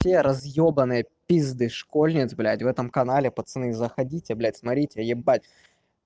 те разёбанные пизды школьниц блядь в этом канале пацаны заходите блядь смотрите ебать